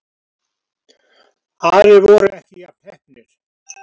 Aðrir voru ekki jafn heppnir